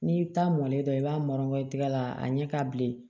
N'i taa mɔlen dɔ i b'a mara i tɛgɛ la a ɲɛ ka bilen